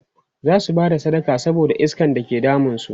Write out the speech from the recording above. zasu Bada sadaka saboda iskan da ke damun su